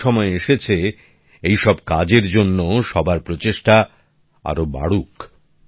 এখন সময় এসেছে এই সব কাজের জন্যও সবার প্রচেষ্টা আরও বাড়ুক